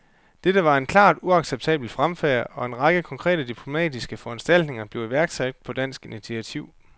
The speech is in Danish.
Dette var en klart uacceptabel fremfærd, og en række konkrete diplomatiske foranstaltninger blev iværksat på dansk initiativ.